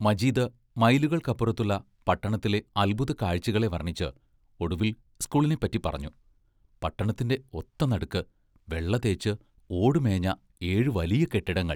മജീദ് മൈലുകൾക്കപ്പുറത്തുള്ള പട്ടണത്തിലെ അത്ഭുത കാഴ്ചകളെ വർണിച്ച്, ഒടുവിൽ സ്കൂളിനെപ്പറ്റി പറഞ്ഞു: പട്ടണത്തിന്റെ ഒത്ത നടുക്ക്, വെള്ള തേച്ച്, ഓടുമേഞ്ഞ ഏഴു വലിയ കെട്ടിടങ്ങൾ.